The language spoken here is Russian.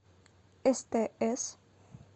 стс